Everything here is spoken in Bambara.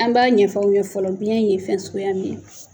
An b'a ɲɛfɔ aw ye fɔlɔ biyɛn ye fɛn suguya min ye.